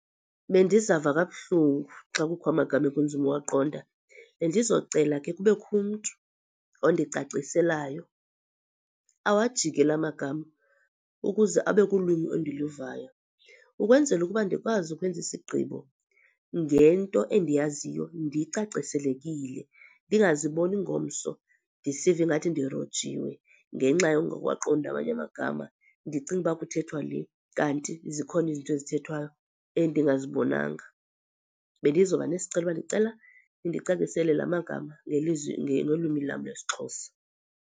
Bendizawuva kabuhlungu xa kukho amagama ekunzima uwaqonda. Bendizocela ke kubekho umntu ondicaciselayo awajike la magama ukuze abe kulwimi endiluvayo. Ukwenzela ukuba ndikwazi ukwenza isigqibo ngento endiyaziyo ndicaciselekile, ndingaziboni ngomso ndisiva ingathi ndirojiwe ngenxa yokungawaqondi amanye amagama, ndicinge ukuba kuthethwa le kanti zikhona izinto ezithethwayo endingazibonanga. Bendiza kuba nesicelo ukuba ndicela nindicacisele lamagama ngelizwi ngolwimi lam lwesiXhosa.